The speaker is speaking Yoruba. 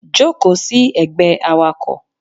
Joko sí ègbé Awakọ̀